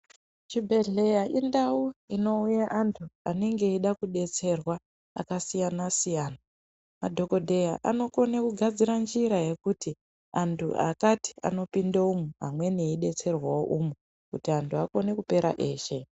Chibhedhleya indau inouya antu anenge eida kudetserwa akasiyana siyana. Madhokodheya anokone kugadzire njira yekuti antu akati anopindo umu amweni eidetserwawo umu, kuti antu akone kupera eshe.